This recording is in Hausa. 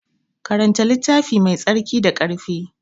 Karanta littafi Mai tsarki da ƙarfi.